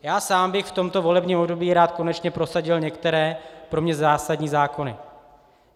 Já sám bych v tomto volebním období rád konečně prosadil některé pro mě zásadní zákony.